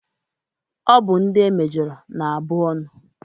Ọ bụ ndị e mejọrọ na abụ ọnụ.